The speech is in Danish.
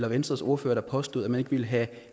at venstres ordfører påstod at man ikke ville have